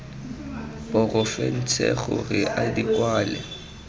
porofense gore a di kwale